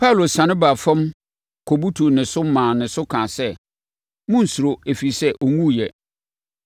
Paulo siane baa fam, kɔbutuu ne so, maa ne so kaa sɛ, “Monnsuro, ɛfiri sɛ, ɔnwuiɛ!”